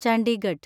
Chandigarh